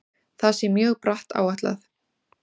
Það sé mjög bratt áætlað.